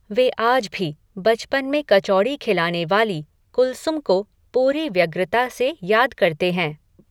वे आज भी, बचपन में कचौड़ी खिलाने वाली, कुलसुम को, पूरी व्यग्रता से याद करते हैं